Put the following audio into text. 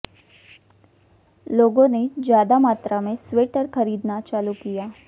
लोगों ने ज्यादा मात्रा में स्वेटर खरीदना चालू किया